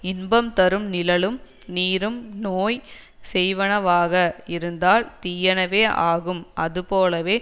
இன்பம் தரும் நிழலும் நீரும் நோய் செய்வனவாக இருந்தால் தீயனவே ஆகும் அதுபோலவே